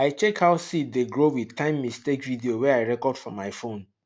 i check how seed dey grow with timemistake video wey i record for my phone